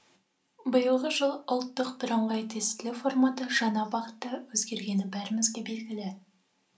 биылғы жылы ұлттық біріңғай тестілеу форматы жаңа бағытта өзгергені бәрімізге белгілі